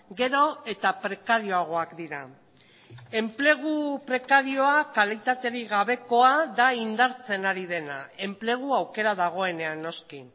gero eta prekarioagoak dira enplegu prekarioa kalitaterik gabekoa da indartzen ari dena enplegu aukera dagoenean noski